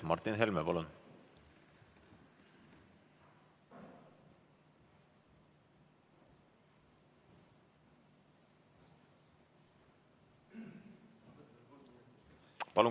Martin Helme, palun!